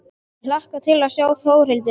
Ég hlakka til að sjá Þórhildi.